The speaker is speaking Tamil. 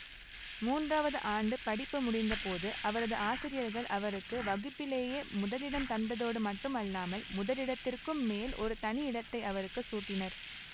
மூன்றாவது ஆண்டு படிப்பு முடிந்தபோது அவரது ஆசிரியர்கள் அவருக்கு வகுப்பிலேயே முதலிடம் தந்ததோடு மட்டுமல்லாமல் முதலிடத்திற்கும் மேல் ஒரு தனி இடத்தை அவருக்கு சூட்டினர்